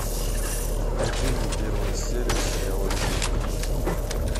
найди мне первую серию сериала ведьмака